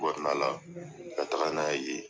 ka taga n'a ye yen.